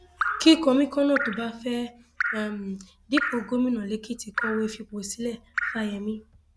um kí kọmíkànnà tó bá fẹẹ um dúpọ gómìnà lẹkìtì kọwé fipò sílẹ fáyemí